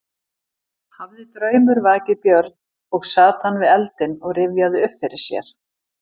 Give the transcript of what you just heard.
Hafði draumur vakið Björn og sat hann við eldinn og rifjaði upp fyrir sér.